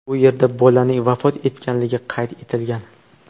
U yerda bolaning vafot etganligi qayd etilgan.